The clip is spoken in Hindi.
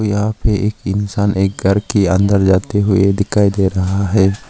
यहां पे एक इंसान एक घर के अंदर जाते हुए दिखाई दे रहा है।